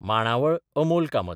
मांडावळ अमोल कामत